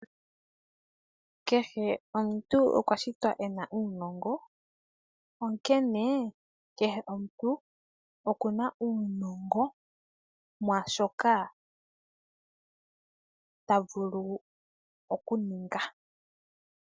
Kehe omuntu okwa shitwa ena uunongo onkene kehe omuntu okuna yuningo mwaashoka tavulu okuninga.